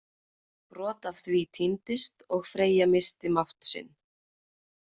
Brot af því týndist og Freyja missti mátt sinn.